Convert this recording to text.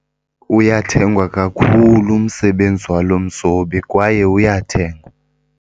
Uyathengwa kakhulu umsebenzi walo mzobi kwaye uyathengwa.